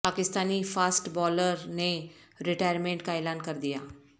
Pakistani fast bowler نے retirement کا اعلان کر دیا